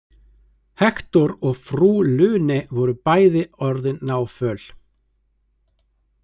Hektor og frú Lune voru bæði orðin náföl.